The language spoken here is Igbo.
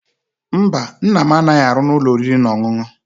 Mba, Nna m anaghi aru n'ulo oriri na onunu